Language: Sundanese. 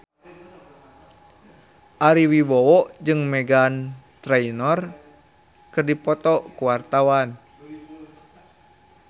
Ari Wibowo jeung Meghan Trainor keur dipoto ku wartawan